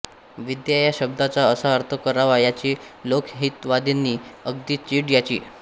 विद्या या शब्दाचा असा अर्थ करावा याची लोकहितवादींना अगदी चीड यायची